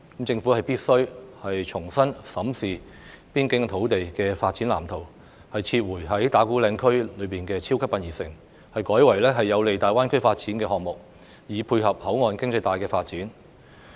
政府必須重新審視邊境土地的發展藍圖，撤回在打鼓嶺區內興建"超級殯儀城"，改為有利大灣區發展的項目，以配合口岸經濟帶的發展。